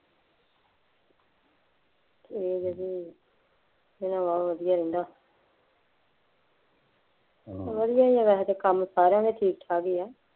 ਫੇਰ ਵਧੀਆ, ਮਾਹੌਲ ਵਧੀਆ ਰਹਿੰਦਾ ਵਧੀਆ ਹੈ ਵੈਸੇ ਤਾਂ ਕੰਮ ਸਾਰਿਆਂ ਦੇ ਠੀਕ ਠਾਕ ਹੀ ਹੈ,